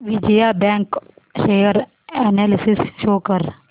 Vijaya bank share analysis show कर